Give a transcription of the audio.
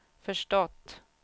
förstått